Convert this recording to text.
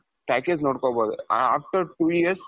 package ನೋಡ್ಕೊಬಹುದು after two years,